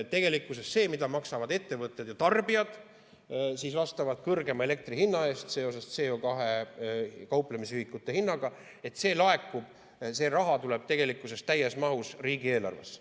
Tegelikkuses see raha, mida maksavad ettevõtted ja tarbijad elektri kõrgema hinna eest seoses CO2 kauplemisühikute hinnaga, laekub täies mahus riigieelarvesse.